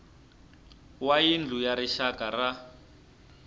wa yindlu ya rixaka ya